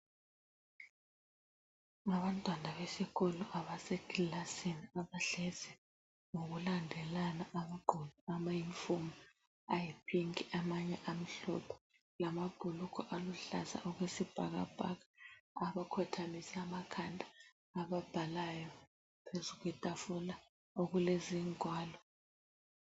Abantwana besikolo abasekilasini abahlezi ngokulandelana bagqoke ama yunifomu ayipinki amanye amhlophe lamabhulugwe aluhlaza okwesibhakabhaka abakhothamise amakhanda ababhalayo phezu kwetafula okulezingwalo.